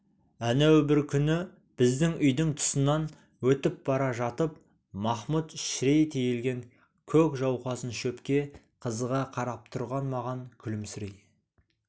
әнеу бір күні біздің үйдің тұсынан өтіп бара жатып махмұд шірей тиелген көк жауқазын шөпке қызыға қарап тұрған маған күлімсірей